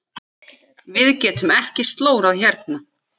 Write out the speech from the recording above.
Við getum ekki slórað hérna.